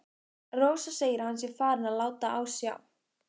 Rósa segir að hann sé farinn að láta á sjá.